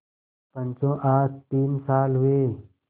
पंचो आज तीन साल हुए